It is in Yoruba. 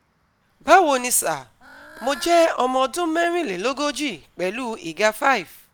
Báwo ni sà, Mo jẹ́ ọmọ ọdún merinleloogoji pẹ̀lú ìga [c] five